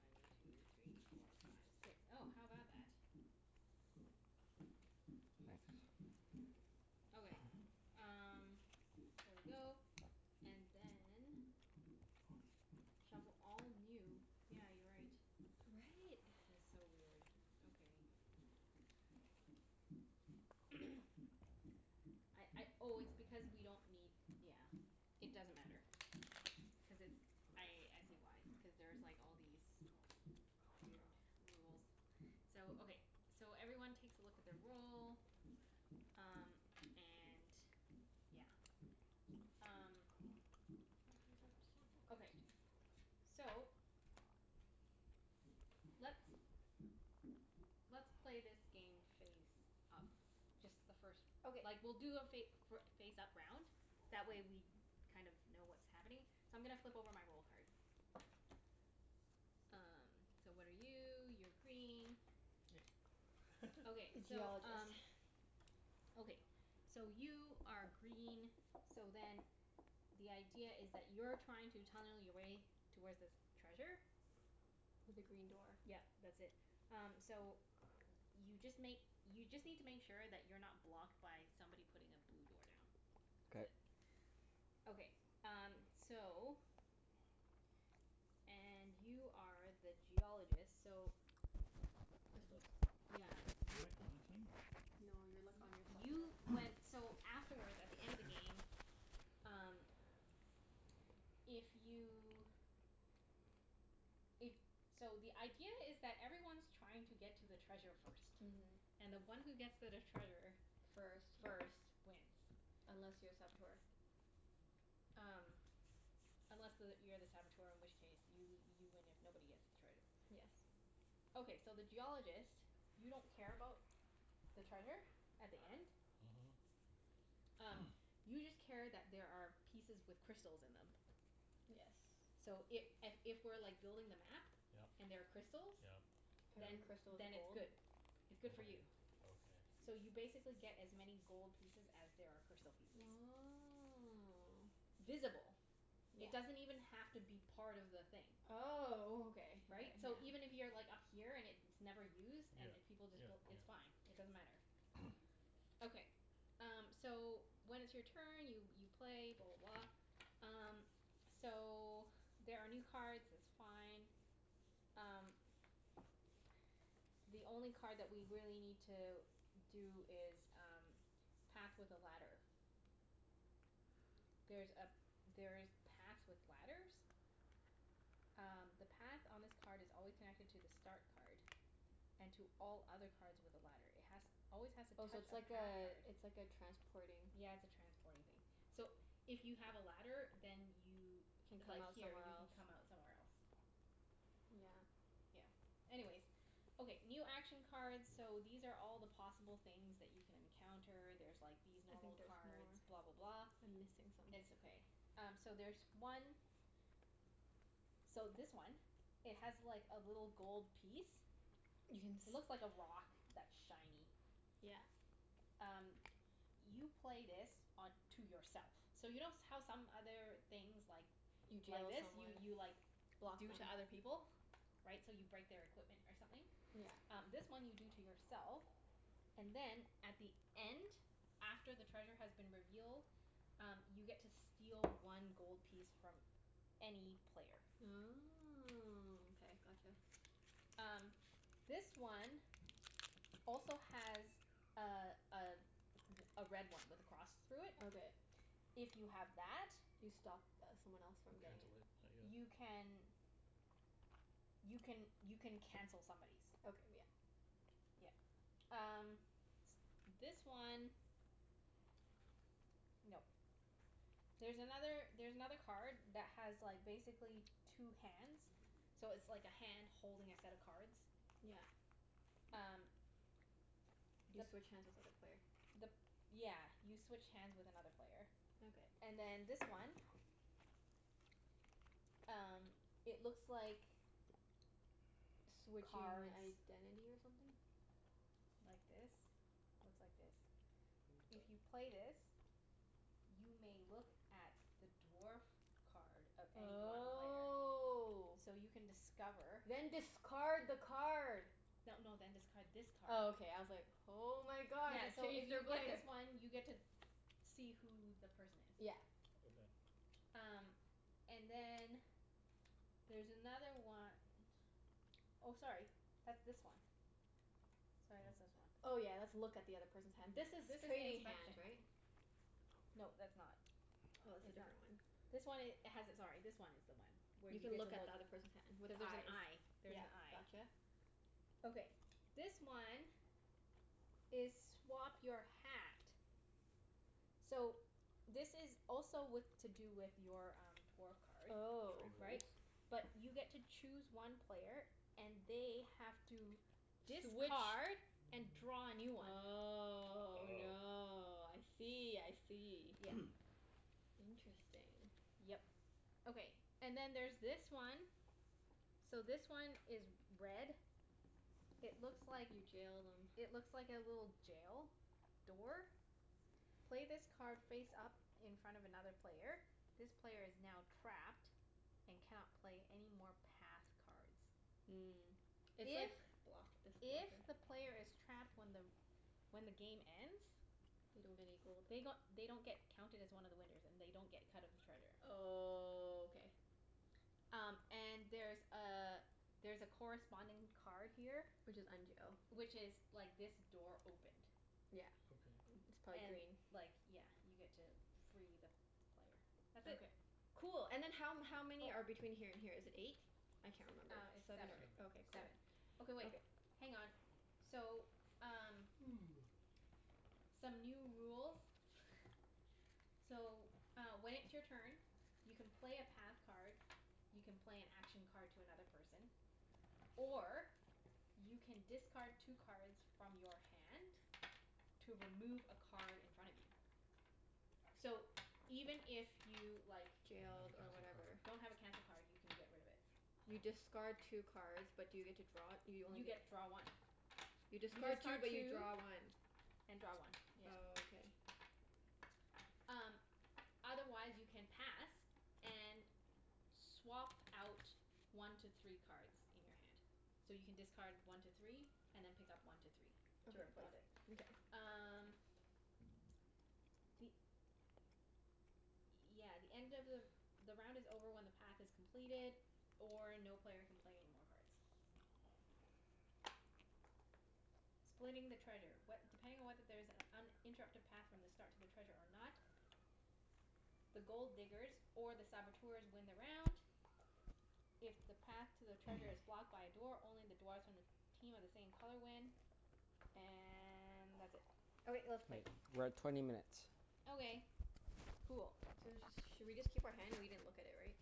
One two three four five six. Oh, how about that? Nice. Okay, um there we go. And then shuffle all new, yeah, you're right. Right? It's so weird. Okay. I I oh, it's because we don't need, yeah. It doesn't matter. Cuz it's, I I see why. Because there's like, all these weird rules. So, okay. So, everyone takes a look at their role. Um, and yeah. Um Hope these are sample cards Okay. too. So let's let's play this game face up. Just the first Okay. Like we'll do a fa- for face up round. That way we kind of know what's happening. So, I'm gonna flip over my role card. Um, so what are you? You're green. Yay. Okay, so Geologist. um Okay. So, you are green, so then the idea is that you're trying to tunnel your way towards this treasure. With a green door. Yep. That's it. Um, so y- you just make, you just need to make sure that you're not blocked by somebody putting a blue door down. That's K. it. Okay. Um, so and you are the Geologist, so Y- Crystals. yeah. Am I You're u- on a team, or no? No, you're like on your Y- you went, so afterwards, at the end of the game Um if you If, so the idea is that everyone's trying to get to the treasure first. Mhm. And the one who gets to the treasure First. first wins. Unless you're a Saboteur. Um Unless the, you're the Saboteur in which case you you win if nobody gets the treasure. Yes. Okay, so the Geologist you don't care about the treasure at the end. Mhm. Um, you just care that there are pieces with crystals in them. Yes. So i- a- if we're like building the map Yep. and there are crystals Yep. Every then Yep. crystal is then it's gold. good. It's Okay. good for you. Okay. So you basically get as many gold pieces as there are crystal pieces. Oh. Visible. Yeah. It doesn't even have to be part of the thing. Oh, okay okay, Right? So yeah. even if you're like up here and it's never used Yeah. and if people Yeah, just built, yeah. it's fine. It doesn't matter. Okay. Um, so when it's your turn, you you play, blah blah blah. Um, so there are new cards. It's fine. Um the only card that we really need to do is um path with a ladder. There's a, there's paths with ladders. Um, the path on this card is always connected to the start card. And to all other cards with a ladder. It has always has to Oh, so touch it's a path like a, card. it's like a transporting Yeah, it's a transporting thing. So, if you have a ladder then you Can if come like, out here, somewhere you can else. come out somewhere else. Yeah. Yeah. Anyways Okay, new action cards So, these are all the possible things that you can encounter. There's like these I think normal there's cards. more. Blah blah blah. I'm missing some. It's okay. Um, so there's one So, this one it has like, a little gold piece. You can s- Looks like a rock that's shiny. Yeah. Um, you play this on to yourself. So you know s- how some other things like You like deal to this? You someone. you like Block them. do to other people? Right? So you break their equipment or something? Yeah. Um, this one you do to yourself. And then at the end after the treasure has been revealed um, you get to steal one gold piece from any player. Oh, okay. Gotcha. Um, this one also has a a r- a red one with a cross through it. Okay. If you have that You stop th- someone else from You getting cancel it. it, I you guess. can you can, you can cancel somebody's. Okay, yeah. Yeah. Um S- this one No. There's another, there's another card that has like, basically two hands. So it's like a hand holding a set of cards. Yeah. Um You The switch hands with other player. the p- yeah, you switch hands with another player. Okay. And then this one Um, it looks like Switch cards your identity or something? like this. Looks like this. If you Mkay. play this you may look at the dwarf card of any one player. Oh. So you can discover Then discard the card! No no, then discard this Oh, card. okay. I was like Oh my god, Yeah, so if you play this one you get to see who the person is. Yeah. Okay. Um, and then there's another one Oh, sorry. That's this one. Sorry, that's Oh. this one. Oh yeah, that's look at the other person's hand. This This is is trading inspection. hands, right? No, that's not. Oh, it's a It's not. different one. This one i- has it, sorry, this one is the one. Where You you can get to look at look the other person's hand. With Cuz there's an eyes. eye. There's Yeah, an eye. gotcha. Okay, this one is swap your hat. So, this is also with, to do with your um, dwarf card. Oh. Trade rules? Right? But you get to choose one player and they have to Switch discard and draw a new one. Oh Oh. no. I see, I see. Yeah. Interesting. Yep. Okay. And then there's this one. So, this one is red It looks like You jailed him. It looks like a little jail door. Play this card face up in front of another player. This player is now trapped and cannot play any more path cards. Mm. It's If like block this if blocker. the player is trapped when the when the game ends They don't get any gold. they g- they don't get counted as one of the winners. And they don't get a cut of the treasure. Oh, k. Um, and there's a there's a corresponding card here Which is unjail. which is like this door opened. Yeah. Okay. It's probably And green. like, yeah, you get to free the player. That's it. Okay. Cool. And then how m- how many are Oh. between here and here? Is it eight? I S- can't remember. um, it's Seven or seven. Seven. ei- okay, cool. Seven. Okay wait, Okay. hang on. So, um some new rules. So, uh when it's your turn you can play a path card you can play an action card to another person or you can discard two cards from your hand to remove a card in front of you. So, even if you, like Don't have a Jailed or cancel whatever. card. don't have a cancel card, you can get rid of it. You Oh. discard two cards but do you get to draw it? You only You get get draw one. You You discard two discard but you two draw one. and draw one, yeah. Oh, okay. Um, otherwise you can pass and swap out one to three cards in your hand. So, you can discard one to three and then pick up one to three to Okay, got replace it. it. Mkay. Um the, yeah, the end of the the round is over when the path is completed or no player can play any more cards. Splitting the treasure. What, depending on whether there is an uninterrupted path from the start to the treasure or not the Gold Diggers or the Saboteurs win the round. If the path to the treasure is blocked by a door, only the dwarfs from the team of the same color win. And that's it. Okay. Let's K, play. we're at twenty minutes. Okay. Cool. So let's just Should we just keep our hand? We didn't look at it, right?